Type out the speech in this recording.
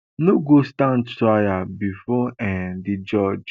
no go stand trial bifor um di judge